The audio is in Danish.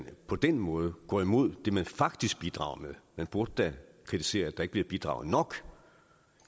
på den måde går imod det vi faktisk bidrager med man burde da kritisere at der ikke bliver bidraget nok